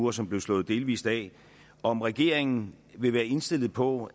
uge og som blev slået delvis af om regeringen vil være indstillet på